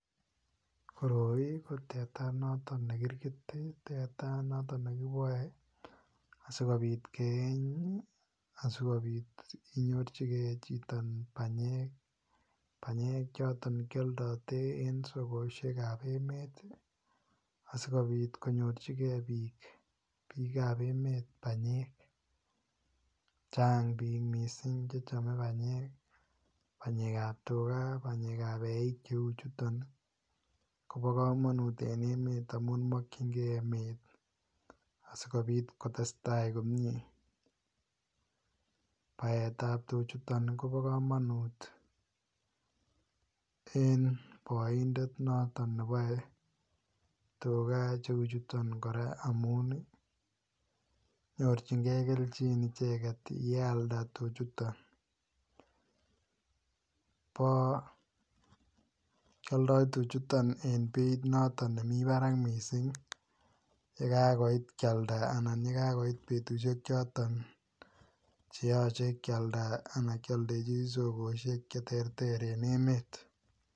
Koroi ko teta noton ne kirgit. Teta noton ne kiboe asigopit keeny asigopit inyorchigei chito banyek, banyek choton kialdote en sokosiekab emet asigopit konyorchige biik, biikab emet banyek. Chang biik mising che chome banyek, banyekab tuga, banyekab eik cheu chuton kobo kamanut en emet amun mokyinge emet asigopit kotestai komie. Baetab tuchuton kobo kamanut en boindet noton ne boe tuga cheuchuton kora amun ii nyorchinge kelchin icheget yealda tuchuton bo. Kialdo tuchuton en beit noton nemi barak mising yekagoit kialda anan ye kagoit yoton che yoche kialda anan kialdechi sogosiek cheterter en emet.